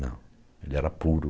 Não, ele era puro.